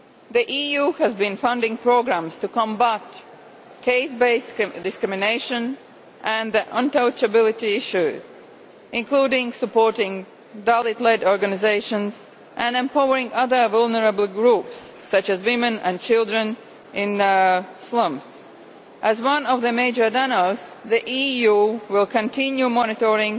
The EU has been funding programmes to combat case based discrimination and the untouchability issue, including supporting Dalit led organisations and empowering other vulnerable groups such as women and children in slums. As one of the major donors, the EU will continue to monitor